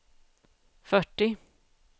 fyrtio